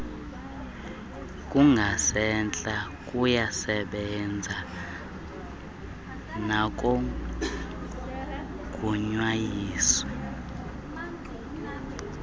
kungasentla kuyasebenza nakogunyaziswe